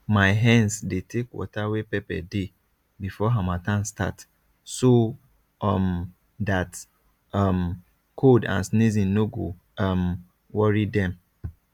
my hens dey take water wey pepper dey before harmattan start so um dat um cold and sneezing no go um worry dem